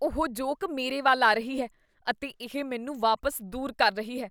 ਉਹ ਜੋਕ ਮੇਰੇ ਵੱਲ ਆ ਰਹੀ ਹੈ ਅਤੇ ਇਹ ਮੈਨੂੰ ਵਾਪਸ ਦੂਰ ਕਰ ਰਹੀ ਹੈ।